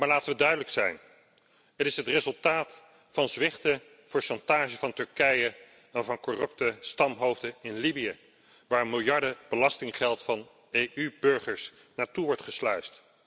Maar laten we duidelijk zijn het is het resultaat van zwichten voor chantage van Turkije en van corrupte stamhoofden in Libië waar miljarden belastinggeld van EU burgers naartoe wordt gesluisd.